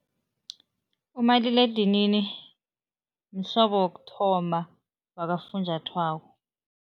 Umaliledinini mhlobo wokuthoma wakafunjathwako.